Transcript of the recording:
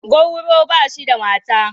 Gwauro ba shi da mata.